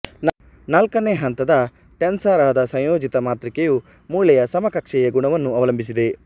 ನಾಲ್ಕನೆ ಹಂತದ ಟೆನ್ಸರ್ಆದ ಸಂಯೋಜಿತ ಮಾತೃಕೆಯು ಮೂಳೆಯ ಸಮಕಕ್ಷೆಯ ಗುಣವನ್ನು ಅವಲಂಬಿಸಿದೆ